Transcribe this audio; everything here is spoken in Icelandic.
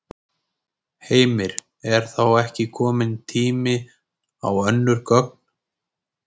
Heimir: Er þá ekki kominn tími á önnur gögn?